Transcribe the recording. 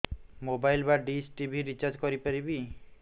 mobile ବା dish TV recharge କରି ପାରିବି